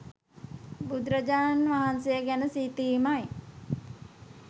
බුදුරජාණන් වහන්සේ ගැන සිතීමයි.